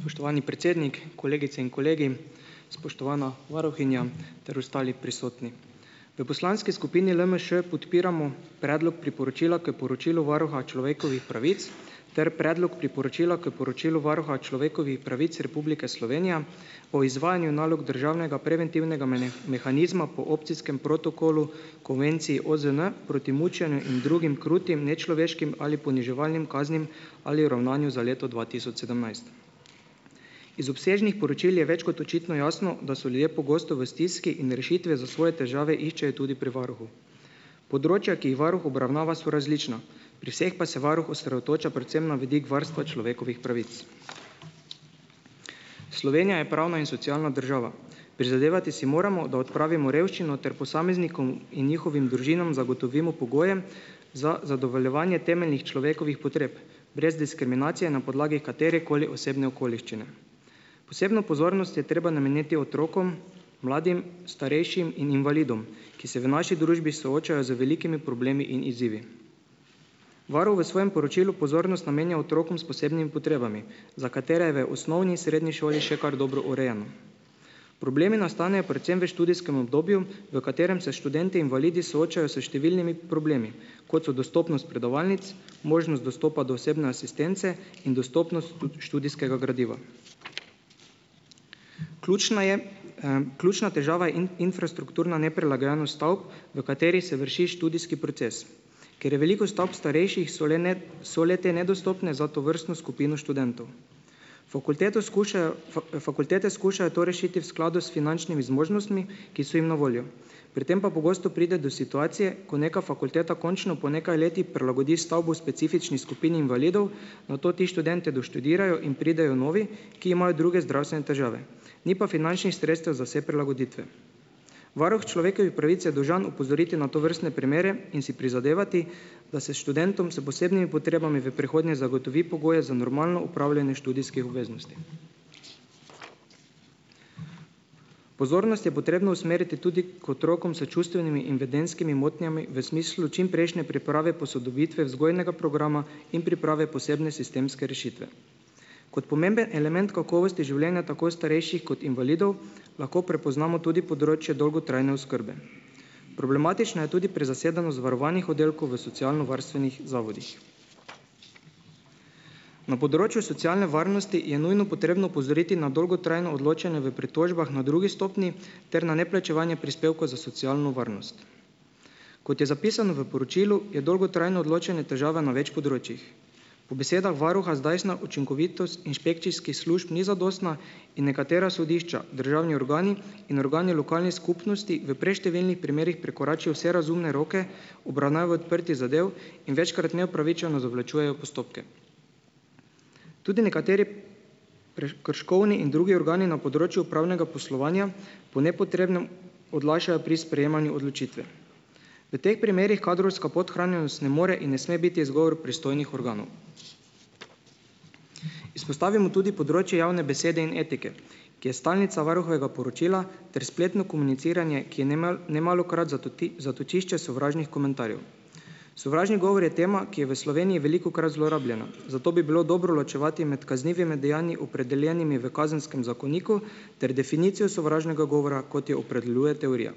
Spoštovani predsednik, kolegice in kolegi. Spoštovana varuhinja ter ostali prisotni. V poslanski skupini LMŠ podpiramo Predlog priporočila k poročilu Varuha človekovih pravic ter Predlog priporočila k poročilu Varuha človekovih pravic Republike Slovenije o izvajanju nalog državnega preventivnega mehanizma po opcijskem protokolu konvencij OZN proti mučenju in drugim krutim, nečloveškim ali poniževalnim kaznim ali ravnanju za leto dva tisoč sedemnajst. Iz obsežnih poročil je več kot očitno jasno, da so ljudje pogosto v stiski in rešitve za svoje težave iščejo tudi pri varuhu. Področja, ki jih varuh obravnava, so različna, pri vseh pa se varuh osredotoča predvsem na vidik varstva človekovih pravic. Slovenija je pravna in socialna država. Prizadevati si moramo, da odpravimo revščino ter posameznikom in njihovim družinam zagotovimo pogoje za zadovoljevanje temeljnih človekovih potreb brez diskriminacije na podlagi katerekoli osebne okoliščine. Posebno pozornost je treba nameniti otrokom, mladim, starejšim in invalidom, ki se v naši družbi soočajo z velikimi problemi in izzivi. Varuh v svojem poročilu pozornost namenja otrokom s posebnim potrebami za katere v osnovni, srednji šoli še kar dobro urejeno. Problemi nastanejo predvsem v študijskem obdobju, v katerem se študentje invalidi soočajo s številnimi problemi, kot so dostopnost predavalnic, možnost dostopa do osebne asistence in dostopnost tudi študijskega gradiva. Ključna je, ključna težava in infrastrukturna neprilagojenost stavb, v kateri se vrši študijski proces. Ker je veliko stavb starejših, so le ne, so le te nedostopne za tovrstno skupino študentov. Fakulteto skušajo fakultete skušajo rešiti v skladu s finančnimi zmožnostmi, ki so jim na voljo. Pri tem pa pogosto pride do situacije, ko neka fakulteta končno po nekaj letih prilagodi stavbo specifični skupini invalidov, nato ti študentje doštudirajo in pridejo novi, ki imajo druge zdravstvene težave, ni pa finančnih sredstev za vse prilagoditve. Varuh človekovih pravic je dolžan opozoriti na tovrstne primere in si prizadevati, da se študentom s posebnimi potrebami v prihodnje zagotovi pogoje za normalno opravljanje študijskih obveznosti. Pozornost je potrebno usmeriti tudi k otrokom s čustvenimi in vedenjskimi motnjami v smislu čimprejšnje priprave posodobitve vzgojnega programa in priprave posebne sistemske rešitve. Kot pomemben element kakovosti življenja tako starejših kot invalidov lahko prepoznamo tudi področje dolgotrajne oskrbe. Problematična je tudi prezasedenost varovanih oddelkov v socialnovarstvenih zavodih. Na področju socialne varnosti je nujno potrebno opozoriti na dolgotrajno odločanje v pritožbah na drugi stopnji ter na neplačevanje prispevkov za socialno varnost. Kot je zapisano v poročilu, je dolgotrajno odločanje težava na več področjih. Po besedah varuha zdajšnja učinkovitost inšpekcijskih služb ni zadostna in nekatera sodišča, državni organi in organi lokalnih skupnosti v preštevilnih primerih prekoračijo vse razumne roke obravnave odprtih zadev in večkrat neupravičeno zavlačujejo postopke. Tudi nekateri prekrškovni in drugi organi na področju upravnega poslovanja po nepotrebnem odlašajo pri sprejemanju odločitve. V teh primerih kadrovska podhranjenost ne more in ne sme biti izgovor pristojnih organov. Izpostavimo tudi področje javne besede in etike, ki je stalnica varuhovega poročila ter spletno komuniciranje, ki je nemalokrat zatočišče sovražnih komentarjev. Sovražni govor je tema, ki je v Sloveniji velikokrat zlorabljena, zato bi bilo dobro ločevati med kaznivimi dejanji, opredeljenimi v kazenskem zakoniku, ter definicijo sovražnega govora, kot jo opredeljuje teorija.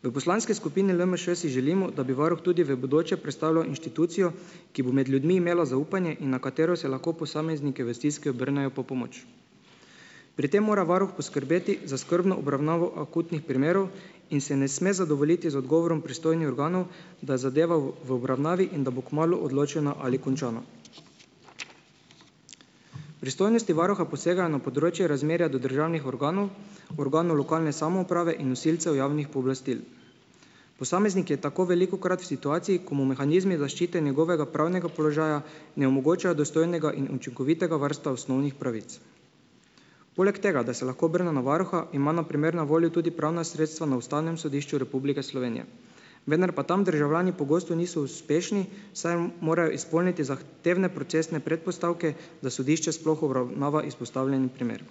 V poslanski skupini LMŠ si želimo, da bi varuh tudi v bodoče predstavljal inštitucijo, ki bo med ljudmi imela zaupanje in na katero se lahko posamezniki v stiski obrnejo po pomoč. Pri tem mora varuh poskrbeti za skrbno obravnavo akutnih primerov in se ne sme zadovoljiti z odgovorom pristojnih organov, da zadeva v, v obravnavi in da bo kmalu odločena ali končana. Pristojnosti varuha posega na področje razmerja do državnih organov, organov lokalne samouprave in nosilcev javnih pooblastil. Posameznik je tako velikokrat v situaciji, ko mu mehanizmi zaščite njegovega pravnega položaja ne omogočajo dostojnega in učinkovitega varstva osnovnih pravic. Poleg tega, da se lahko obrne na varuha, ima na primer na voljo tudi pravna sredstva na Ustavnem sodišču Republike Slovenije. Vendar pa tam državljani pogosto niso uspešni, saj morajo izpolniti zah tevne procesne predpostavke, da sodišče sploh obravnava izpostavljeni primer.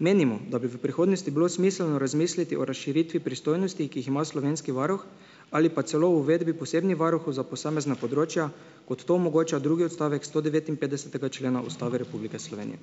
Menimo, da bi v prihodnosti bilo smiselno razmisliti o razširitvi pristojnosti, ki jih ima slovenski varuh, ali pa celo o uvedbi posebnih varuhov za posamezna področja, kot to omogoča drugi odstavek sto devetinpetdesetega člena Ustave Republike Slovenije.